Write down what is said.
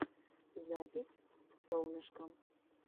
запись солнышкам